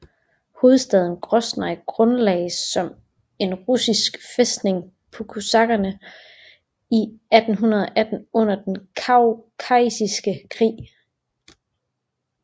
Hovedstaden Groznyj grundlagdes som en russisk fæstning af kosakkerne i 1818 under den kaukasiske krig